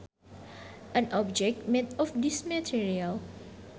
An object made of this material